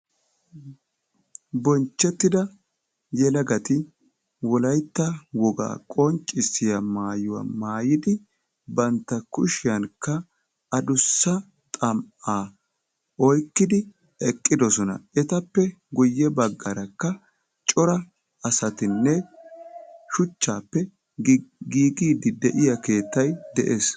Bonchchettida yelagati wolaytta wogaa qonccisiyaa maayuwaa maayidi banta kushiyaankka adussa xam"aa oyqqidi eqqidosona. etappe guye baggaarakka cora asatinne shuchchappe giigidi de'iyaa keettay de'ees.